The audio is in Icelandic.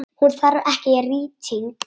Hún þarf ekki rýting.